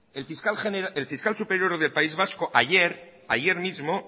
el fiscal superior del país vasco ayer ayer mismo